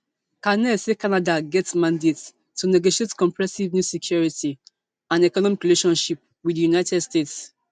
carney say canada get mandate to negotiate comprehensive new security and economic relationship wit di united states